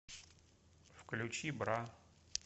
включи бра